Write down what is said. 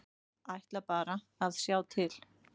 Ætla bara að sjá til.